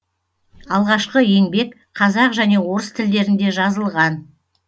алғашқы еңбек қазақ және орыс тілдерінде жазылған